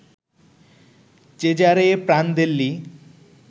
Cesare Prandelli